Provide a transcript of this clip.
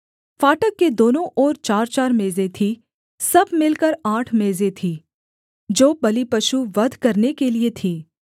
फाटक के दोनों ओर चारचार मेजें थीं सब मिलकर आठ मेजें थीं जो बलिपशु वध करने के लिये थीं